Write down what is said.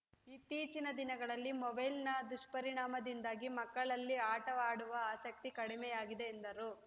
ಇತ್ತೀಚಿನ ದಿನಗಳಲ್ಲಿ ಮೊಬೈಲ್‌ನ ದುಷ್ಪರಿಣಾಮದಿಂದಾಗಿ ಮಕ್ಕಳಲ್ಲಿ ಆಟವಾಡುವ ಆಸಕ್ತಿ ಕಡಿಮೆಯಾಗಿದೆ ಎಂದರು